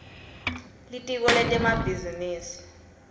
litiko lemabhizinisi